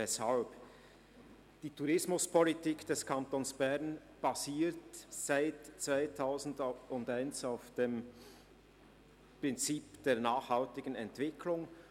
Weshalb? – Die Tourismuspolitik des Kantons Bern basiert seit 2001 auf dem Prinzip der nachhaltigen Entwicklung.